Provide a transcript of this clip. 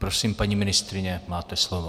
Prosím, paní ministryně, máte slovo.